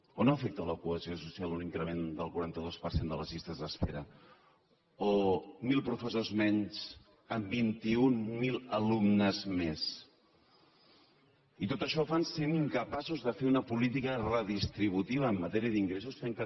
o no afecta a la cohesió social un increment del quaranta dos per cent de les llistes d’espera o mil professors menys amb vint mil alumnes més i tot això ho fan sent incapaços de fer una política redistributiva en matèria d’ingressos fent que